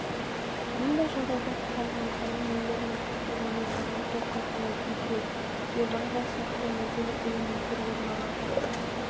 мұндай жағдайда қоғамның рухани өмірінде қайта өрлеу жаңғырту қалпына келтіру ревайвал сияқты мәдени элементтер орын алады